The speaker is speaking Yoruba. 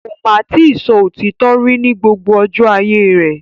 Ko máa ti sọ òtítọ rí ní gbogbo ọjọ́ ayé rẹ̀.